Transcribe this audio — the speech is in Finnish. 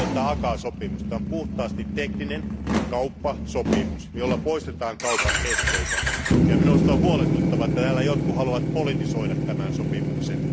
ACAA sopimus on puhtaasti tekninen kauppasopimus, jolla poistetaan kaupan esteitä. Minusta on huolestuttavaa, että täällä jotkut haluavat politisoida tämän sopimuksen.